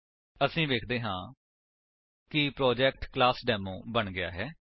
ਅਸੀ ਵੇਖਦੇ ਹਾਂ ਕਿ ਪ੍ਰੋਜੇਕਟ ਕਲਾਸਡੇਮੋ ਬਣ ਗਿਆ ਹੈ